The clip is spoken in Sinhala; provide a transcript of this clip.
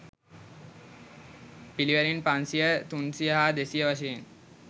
පිළිවෙළින් පන්සියය, තුන්සියය හා දෙසිය වශයෙන්